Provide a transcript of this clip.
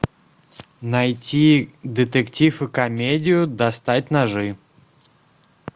найти детектив и комедию достать ножи